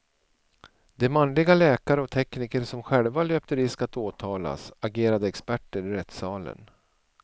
De manliga läkare och tekniker som själva löpte risk att åtalas agerade experter i rättssalen.